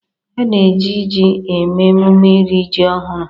Ana eji ji eme emume iri ji ọhụrụ.